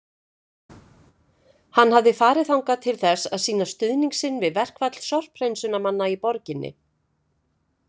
Hann hafði farið þangað til þess að sýna stuðning sinn við verkfall sorphreinsunarmanna í borginni.